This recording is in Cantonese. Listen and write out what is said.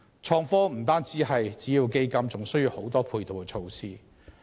創科不但需要資金，亦需要很多配套設施。